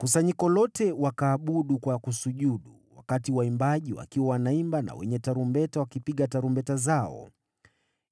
Kusanyiko lote wakaabudu kwa kusujudu, wakati waimbaji wakiwa wanaimba na wenye tarumbeta wakipiga tarumbeta zao.